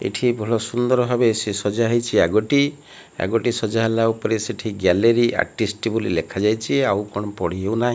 ଏଠି ଭଲ ସୁନ୍ଦର ଭାବେ ସେ ସଜା ହେଇଛି ଆଗଟି ଆଗଟି ସଜା ହେଲା ଉପରେ ସେଠୀ ଗ୍ୟାଲେରୀ ଆର୍ଟିଷ୍ଟ ବୋଲି ଲେଖା ଯାଇଛି ଆଉ କଣ ପଢ଼ି ହେଉନାହିଁ।